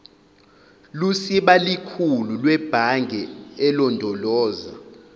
lusibalikhulu lwebhange elondoloza